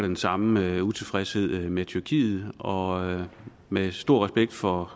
den samme utilfredshed med tyrkiet og med stor respekt for